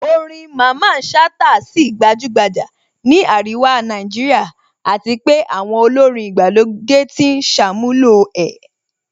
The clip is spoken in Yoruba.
Orin Mamman Shata á sì gbajúgbajà ní àríwá Nàìjíríà àti pé àwọn olórin ìgbàlódé ti ń ṣàmúlò ẹ̀